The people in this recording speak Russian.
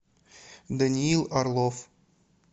даниил орлов